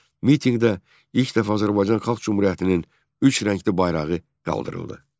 Mitinqdə ilk dəfə Azərbaycan Xalq Cümhuriyyətinin üç rəngli bayrağı qaldırıldı.